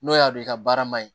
N'o y'a don i ka baara ma ɲi